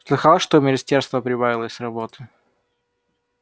слыхал что у министерства прибавилось работы